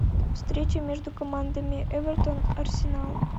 встреча между командами эвертон арсенал